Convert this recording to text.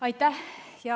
Aitäh!